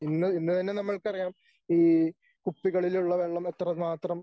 ഇന്ന് ഇന്ന് തന്നെ നമ്മൾക്കറിയാം ഈ കുപ്പികളിലുള്ള വെള്ളം എത്രമാത്രം